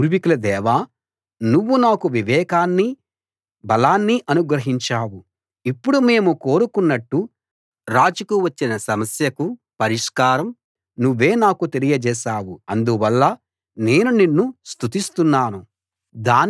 మా పూర్వీకుల దేవా నువ్వు నాకు వివేకాన్నీ బలాన్నీ అనుగ్రహించావు ఇప్పుడు మేము కోరుకున్నట్టు రాజుకు వచ్చిన సమస్యకు పరిష్కారం నువ్వే నాకు తెలియజేశావు అందువల్ల నేను నిన్ను స్తుతిస్తున్నాను